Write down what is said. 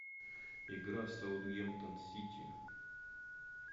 игра саутгемптон сити